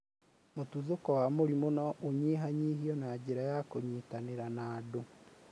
mũtuthuko wa mũrimũ no ũnyihanyihio na njĩra ya kũnyitanĩra na andũ.